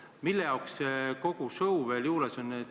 Milleks kogu see show veel vajalik on?